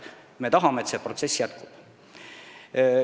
Me tahame, et see protsess jätkuks.